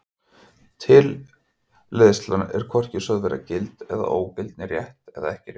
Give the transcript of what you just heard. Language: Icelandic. Tilleiðsla er er hvorki sögð vera gild eða ógild né rétt eða ekki rétt.